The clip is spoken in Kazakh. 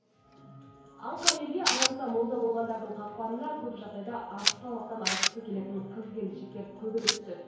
аңқау елге арамза молда болғандардың қақпанына көп жағдайда артық салмақтан арылғысы келетін қыз келіншектер көбірек түседі